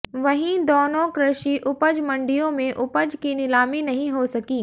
वहीं दोनों कृषि उपज मंडियों में उपज की नीलामी नहीं हो सकी